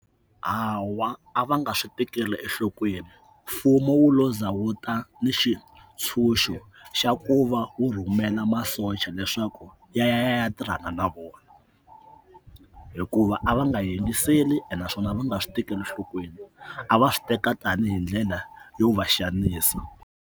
Hawa a va nga swi tekeli enhlokweni mfumo wu lo za wuta ni xitshunxo xa ku va wu rhumela masocha leswaku ya ya ya ya ya tirhana na vona hikuva a va nga yingiseli naswona a va nga swi tekeli enhlokweni a va swi teka tanihi ndlela yo va xanisa.